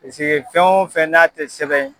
Peseke fɛn o fɛn n'a tɛ sɛbɛn